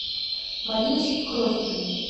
мариночке крохиной